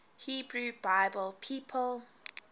hebrew bible people